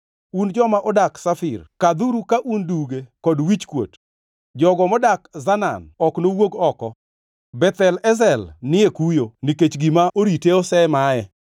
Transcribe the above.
Un joma odak Shafir kadhuru ka un duge kod wichkuot. Jogo modak Zanaan ok nowuog oko. Beth Ezel ni e kuyo nikech gima orite osemaye.